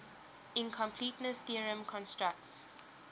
incompleteness theorem constructs